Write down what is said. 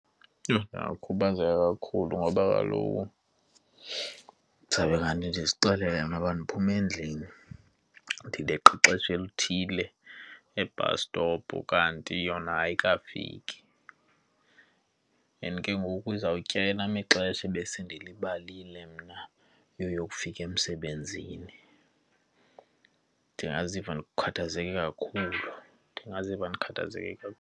Yho! Ndingakhubazeka kakhulu ngoba kaloku ndizawube kanti ndizixelele ngento yoba ndiphuma endlini ndileqe ixesha elithile e-bus stop kanti yona ayikafiki and ke ngoku izawutyeba elam ixesha ebesendilibalile mna yoyokufika emsebenzini. Ndingaziva ndikhathazeke kakhulu, ndingaziva ndikhathazeke kakhulu.